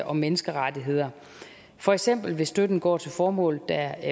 og menneskerettigheder for eksempel hvis støtten går til formål der